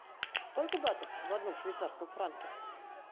сколько батов в одном швейцарском франке